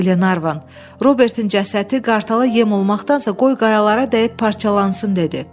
Glenarvan, Robertin cəsədi qartala yem olmaqdansa, qoy qayalara dəyib parçalansın dedi.